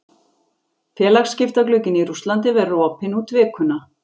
Félagaskiptaglugginn í Rússlandi verður opinn út vikuna.